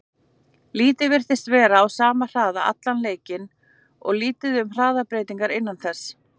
Liðið virtist vera á sama hraða allan leikinn og lítið um hraðabreytingar innan þess.